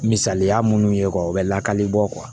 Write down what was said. Misaliya minnu ye o bɛ lakali bɔ